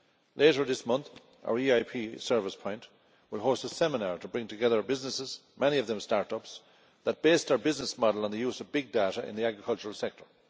Later this month our EIP Service Point will host a seminar to bring together businesses, many of them start ups, that based their business model on the use of big data in the agricultural sector.